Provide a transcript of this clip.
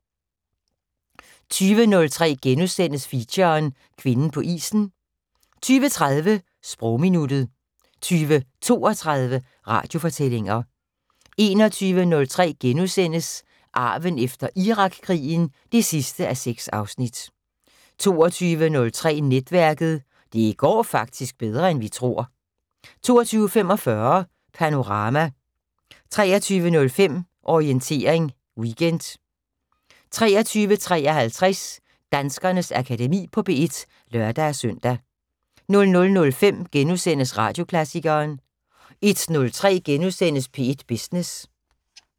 20:03: Feature: Kvinden på isen * 20:30: Sprogminuttet 20:32: Radiofortællinger 21:03: Arven efter Irakkrigen 6:6 * 22:03: Netværket: Det går faktisk bedre end vi tror 22:45: Panorama 23:05: Orientering Weekend 23:53: Danskernes Akademi på P1 (lør-søn) 00:05: Radioklassikeren * 01:03: P1 Business *